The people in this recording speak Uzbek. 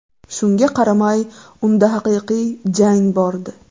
Shunga qaramay, unda haqiqiy jang bordi.